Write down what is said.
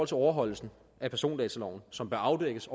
til overholdelsen af persondataloven som bør afdækkes